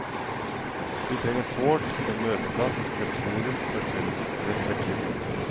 Vi trenger sårt en møteplass, et forum for felles refleksjon.